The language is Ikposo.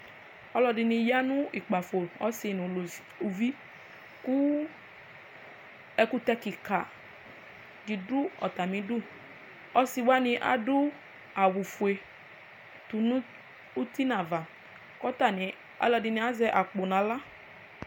Ɔlɔdini yanʋ ukpafo ɔsi nʋ ʋvi kʋ ɛkʋtɛ kika didʋ atmi idʋ ɔsiwani adʋ awʋfue tʋnʋ iti nʋ ava kʋ atani alʋ ɔlɔdiini azɛ akpɔ nʋ aɣla